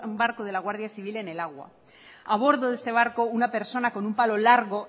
barco de la guardia civil en el agua a bordo de este barco una persona con un palo largo